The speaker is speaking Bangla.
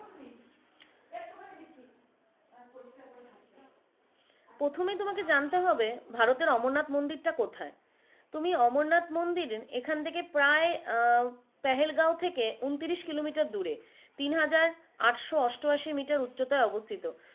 প্রথমে তোমকে জানতে হবে ভারতের অমরনাথ মুন্দিরটা কোথাই তুমি অমরনাথ মুন্দিরে এখান থেকে প্রায় আহ পেহেলগাঁও থেকে উনত্রিশ kilometre দূরে তিনহাজার আটশো অষ্টআশি meter উচ্চতাই অবস্থিত।